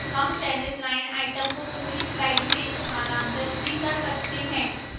हम चयनित line items को पूरी slides में स्थानांतरित भी कर सकते हैं